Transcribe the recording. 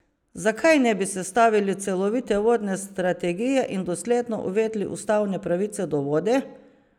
Zakaj ne bi sestavili celovite vodne strategije in dosledno uvedli ustavne pravice do vode?